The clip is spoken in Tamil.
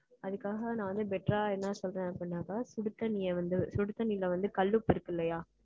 அதுக்காக, நான் வந்து, better ஆ என்ன சொல்றேன் அப்படின்னாக்க, சுடுதண்ணியை வந்து, சுடு தண்ணியில வந்து, கல் உப்பு இருக்கு இல்லையா